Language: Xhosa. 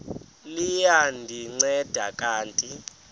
liya ndinceda kanti